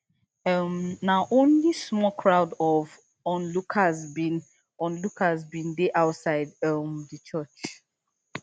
um na only small crowd of onlookers bin onlookers bin dey outside um di church